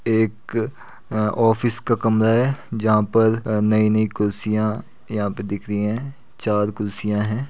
एक अ ऑफिस का कमरा है जहाँ पर नयी नयी कुर्सियां यहाँ पर दिख रही हैं चार कुर्सियां हैं।